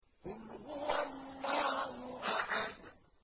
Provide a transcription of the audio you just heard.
قُلْ هُوَ اللَّهُ أَحَدٌ